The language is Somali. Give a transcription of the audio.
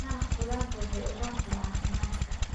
Maraq khudaartu waxay u roon tahay caafimaadka.